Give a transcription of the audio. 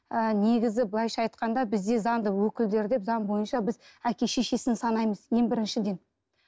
ы негізі былайша айтқанда бізде заңды өкілдері деп заң бойынша біз әке шешесін санаймыз ең біріншіден